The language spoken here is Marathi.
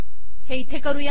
हे इथे करूयात